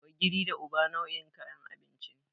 Ogiri da Uba nau'in kayan abinci ne.